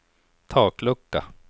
taklucka